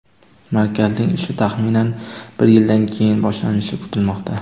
Markazning ishi taxminan bir yildan keyin boshlanishi kutilmoqda.